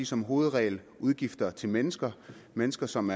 som hovedregel er udgifter til mennesker mennesker som